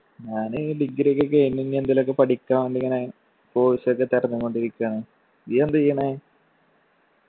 ഞാന് degree ഒക്കെ കഴിഞ്ഞ് ഇനി എന്തെല് ഒക്കെ പഠിക്കാൻ വേണ്ടി ഇങ്ങനെ course ഒക്കെ തെരഞ്ഞും കൊണ്ടിരിക്കാണ്. നീ എന്ത ചെയ്യണേ?